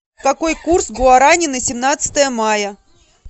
какой курс гуарани на семнадцатое мая